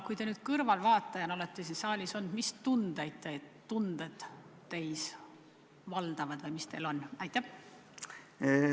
Kui te kõrvaltvaatajana siin saalis olete, mis tunded teid valdavad või mis tunded teil on?